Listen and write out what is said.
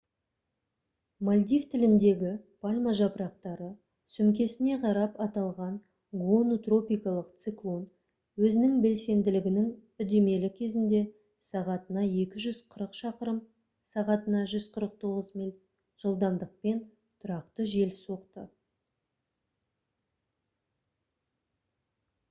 мальдив тіліндегі пальма жапырақтары сөмкесіне қарап аталған гону тропикалық циклон өзінің белсенділігінің үдемелі кезінде сағатына 240 шақырым сағатына 149 миль жылдамдықпен тұрақты жел соқты